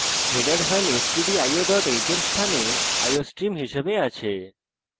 header file stdio h এর স্থানে iostream হিসেবে আছে